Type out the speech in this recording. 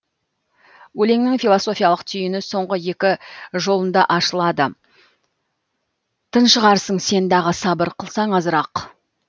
өлеңнің философиялық түйіні соңғы екі жолында ашылады тыншығарсың сен дағы сабыр қылсаң азырақ